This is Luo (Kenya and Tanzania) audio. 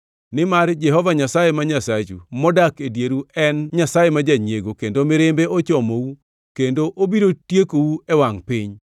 nimar Jehova Nyasaye ma Nyasachu modak e dieru en Nyasaye ma janyiego kendo mirimbe ochomou kendo obiro tiekou e wangʼ piny.